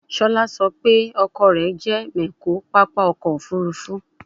Shola so pe oko re je mecho papa oko ofurufu